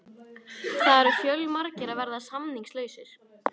Það eru fjölmargir að verða samningslausir.